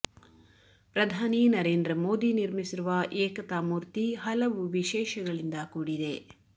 ಪ್ರಧಾನಿ ನರೇಂದ್ರ ಮೋದಿ ನಿರ್ಮಿಸಿರುವ ಏಕತಾ ಮೂರ್ತಿ ಹಲವು ವಿಶೇಷಗಳಿಂದ ಕೂಡಿದೆ